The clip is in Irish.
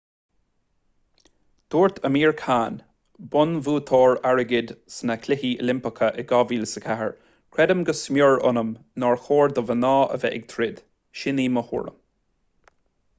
dúirt amir khan bonnbhuaiteoir airgid sna cluichí oilimpeacha in 2004 creidim go smior ionam nár chóir do mhná a bheith ag troid sin í mo thuairim